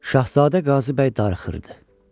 Şahzadə Qazıbəy darıxırdı.